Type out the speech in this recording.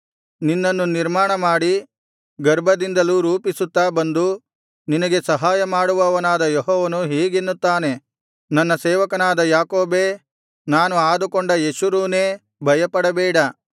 ನಿನ್ನನ್ನು ನಿರ್ಮಾಣಮಾಡಿ ಗರ್ಭದಿಂದಲೂ ರೂಪಿಸುತ್ತಾ ಬಂದು ನಿನಗೆ ಸಹಾಯ ಮಾಡುವವನಾದ ಯೆಹೋವನು ಹೀಗೆನ್ನುತ್ತಾನೆ ನನ್ನ ಸೇವಕನಾದ ಯಾಕೋಬೇ ನಾನು ಆದುಕೊಂಡ ಯೆಶುರೂನೇ ಭಯಪಡಬೇಡ